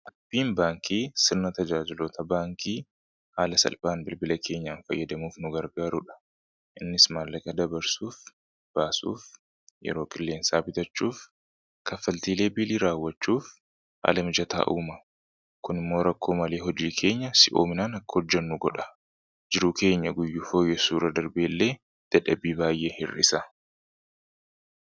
appiin baankii sirna tajaajilota baankii haala salphaan bilbila keenyaan fayyadamuuf nu gargaaruudha innis maallaqa dabarsuuf baasuuf yeroo qilleensaa bitachuuf kaffaltiilee biilii raawwachuuf haala mijataa'uuma kun immoo rakkoo malee hojii keenya si oominaan akka hojjannu godha jiruu keenya guyyuu fooyyesuura darbeellee dadhabii baay'ee hir'isa